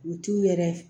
U t'u yɛrɛ